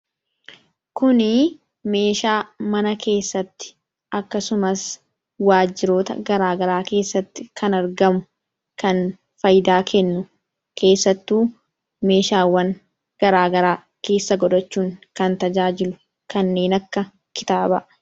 kunii meeshaa mana keessatti akkasumas waajiroota garaagaraa keessatti kan argamu kan faaydaa kennu keessattuu meeshaawwan garaagaraa keessa godhachuun kan tajaajilu kanneen akka kitaabaa.